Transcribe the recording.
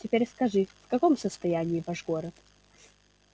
теперь скажи в каком состоянии ваш город